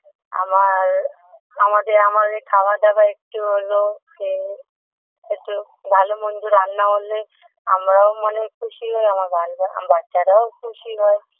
আমার আমাদে আমাদের খাবার দাবার একটু হলো যে একটু ভালো মন্দ রান্না হলে আমরাও মানে খুশি হই আমার বাঞ্জা বাচ্চারাও খুশি হয়